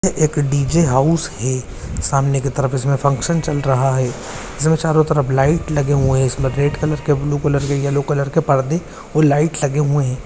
ये एक DJ. House है सामने की तरफ इसमें फंक्शन चल रहा है इसमें चारों तरफ लाइट लगे हुए है इसमे रेड कलर के ब्लू कलर के येलो कलर के परदे और लाइट लगे हुए है।